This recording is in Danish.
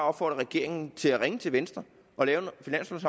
opfordre regeringen til at ringe til venstre